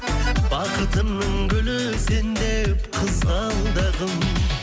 бақытымның гүлі сен деп қызғалдағым